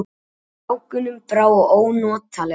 Strákunum brá ónotalega.